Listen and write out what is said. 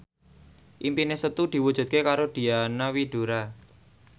impine Setu diwujudke karo Diana Widoera